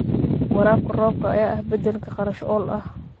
Waraabka roobka ayaa ah beddelka kharash-ool ah.